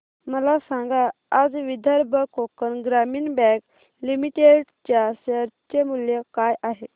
मला सांगा आज विदर्भ कोकण ग्रामीण बँक लिमिटेड च्या शेअर चे मूल्य काय आहे